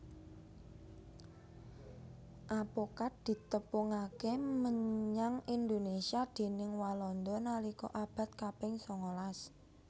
Apokat ditepungaké menyang Indonésia déning Walanda nalika abad kaping sangalas